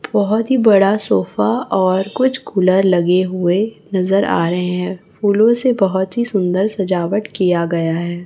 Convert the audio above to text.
बहोत ही बड़ा सोफा और कुछ कुलर लगे हुए नजर आ रहे हैं फूलों से बहोत ही सुंदर सजावट किया गया है।